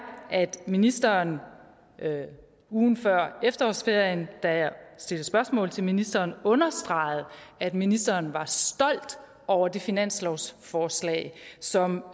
at ministeren ugen før efterårsferien da jeg stillede spørgsmål til ministeren understregede at ministeren var stolt over det finanslovsforslag som